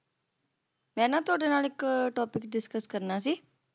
ਮੈਂ ਨਾ ਤੁਹਾਡੇ ਨਾਲ ਇੱਕ topic discuss ਕਰਨਾ ਸੀ